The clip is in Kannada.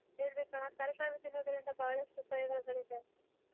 ಹೇಳಬೇಕ್ ಅಣ್ಣಾ ತರಕಾರಿ ತಿನ್ನೋದರಿಂದ ಬಹಳಷ್ಟು ಉಪಯೋಗಳಿದೆ.